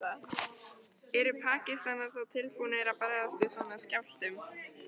Eru Pakistanar þá tilbúnir að bregðast við svona skjálftum?